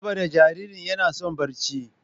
saboda jaririn yana son barci.